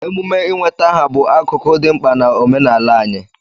Emume ị nweta aha bụ akụkụ dị mkpa na omenala anyị.